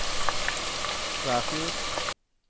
Kvæfjord